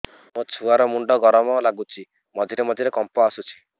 ମୋ ଛୁଆ ର ମୁଣ୍ଡ ଗରମ ଲାଗୁଚି ମଝିରେ ମଝିରେ କମ୍ପ ଆସୁଛି